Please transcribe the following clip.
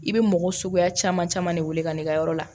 I bɛ mɔgɔ suguya caman caman de wele ka n'i ka yɔrɔ la